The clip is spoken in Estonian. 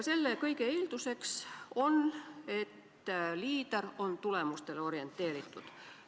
Selle kõige eeldus on, et liider on tulemustele orienteeritud.